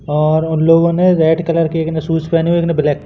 और उन लोगो ने रेड कलर के एक ने शूज़ पहने एक ने ब्लैक --